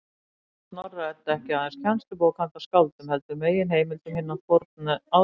Því var Snorra-Edda ekki aðeins kennslubók handa skáldum, heldur og meginheimild um hinn forna átrúnað.